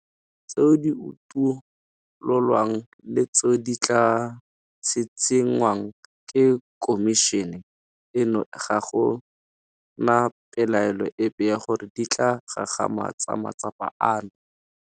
Tseo di utololwang le tseo di tla tshitshingwang ke khomišene eno ga go na pelaelo epe ya gore di tla gagamatsa matsapa ano.